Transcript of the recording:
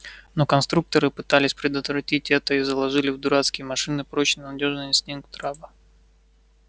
но конструкторы пытались предотвратить это и заложили в дурацкие машины прочно надёжный инстинкт раба